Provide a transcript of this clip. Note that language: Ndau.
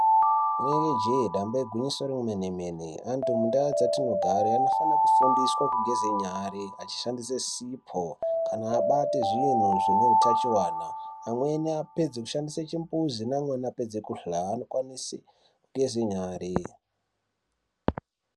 Inenge jee damba igwinyiso remene mene antu mundau dzatinogare anofane kufundiswa kugeze nyare achishandise sipo kana kubate zvinhu zvine utachiwana amweni apedze kushandisw chimbuzi neamweni apedze kuhlae anokwanise kugeze nyare.